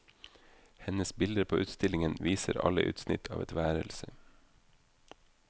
Hennes bilder på utstillingen viser alle utsnitt av et værelse.